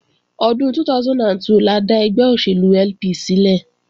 Ọdún 2002 la dá ẹgbẹ́ òṣèlú LP sílẹ̀